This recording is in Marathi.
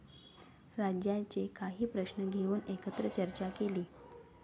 राज्याचे काही प्रश्न घेऊन एकत्र चर्चा केली.